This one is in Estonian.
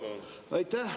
Aitäh!